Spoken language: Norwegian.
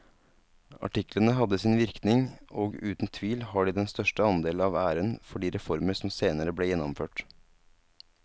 Artiklene hadde sin virkning og uten tvil har de den største andel av æren for de reformer som senere ble gjennomført.